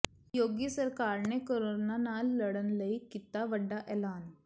ਯੋਗੀ ਸਰਕਾਰ ਨੇ ਕੋਰੋਨਾ ਨਾਲ ਲੜਨ ਲਈ ਕੀਤਾ ਵੱਡਾ ਐਲਾਨ